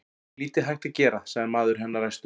Það er nú lítið hægt að gera, sagði maður hennar æstur.